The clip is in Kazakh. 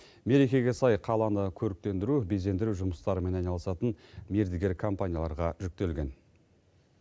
мерекеге сай қаланы көріктендіру безендіру жұмыстарымен айналысатын мердігер компанияларға жүктелген